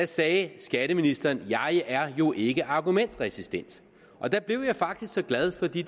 sagde skatteministeren jeg er jo ikke argumentresistent og der blev jeg faktisk så glad for det